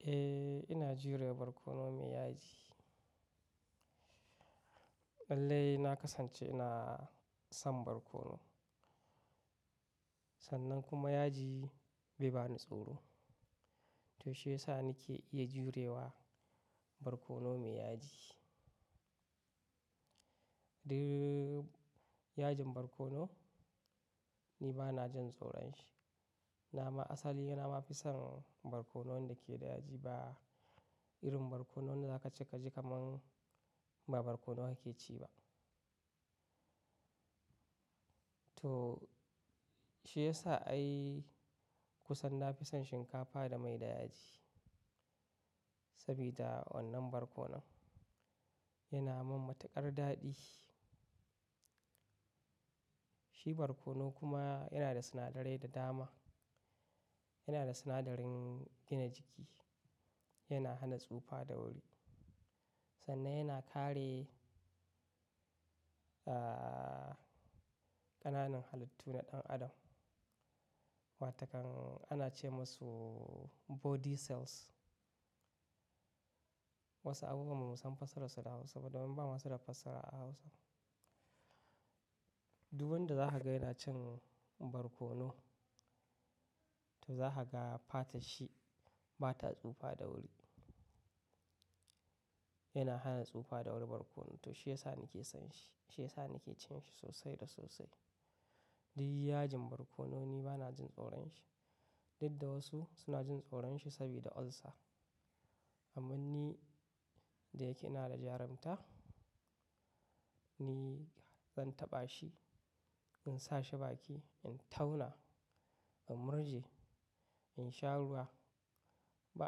Eh, ina jurewa barkono mai yaji. Lallai na kasance ina son barkono, sannan kuma yaji bai bani tsoro. To shiyasa nake iya jurewa barkono mai yaji. Eh yajin barkono ni bana jin tsoron shi. Na ma asali na mafi son barkonon wanda ke da yaji ba irin barkonon da za kaci ka ji kaman ba barkono kake ci ba. To shiyasa ai kusan nafi son shinkafa da mai da yaji, sabida wannan barkonon yana min matukar daɗi. Shi barkono kuma yana da sinadarai da dama. Yana da sinadarin gina jiki, yana hana tsufa da wuri, sannan yana kare, ah, ƙananan halittu na ɗan adam wa takan ana ce musu body cells. Wasu abubuwa mu bamu san fassararsu da Hausa ba don bama suda fassara a Hausa. Dud wanda za ka yana cin barkono, to za ka ga fata shi ba ta tsufa da wuri. Yana hana tsufa da wuri barkono. To shiyasa nake son shi. Shiyasa nake cin shi sosai da sosai. Duk yajin barkono ni bana jin tsoron shi. Duk da wasu suna jin tsoron shi sabida ulcer. Amma ni da yake ina da jarunta, ni zan taɓa shi, in sa shi baki, in tauna, in murje, in sha ruwa, ba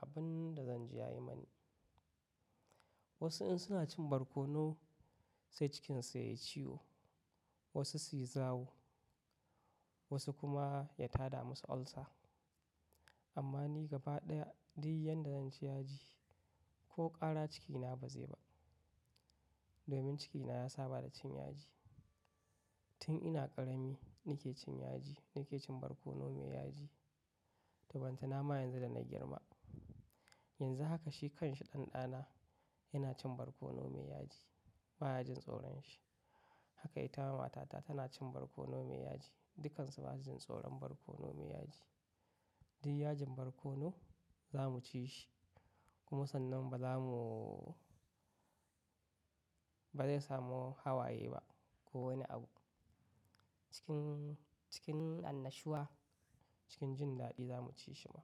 abun da zan ji yayi mani. Wasu in suna cin barkono sai cikin su yayi ciwo, wasu su yi zawo, wasu kuma ya tada musu ulcer. Amma ni gaba ɗaya duk yanda zan ci yaji ko ƙara cikina ba zai ba, domin cikina ya saba da cin yaji. Tun ina ƙarami nake cin yaji, nake cin barkono mai yaji. Taban tana ma yanzu da na girma. Yanzu haka shi kanshi ɗan ɗana yana cin barkono mai yaji ba ya jin tsoron shi. Haka ita ma matata tana cin barkono mai yaji. Dukansu ba su jin tsoron barkono mai yaji. Duk yajin barkono za mu ci shi. Kuma sannan ba za mu-- ba zai samu hawaye ba ko wani abu. Cikin, cikin annashuwa, cikin jin daɗi za mu ci shi ma.